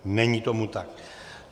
Není tomu tak.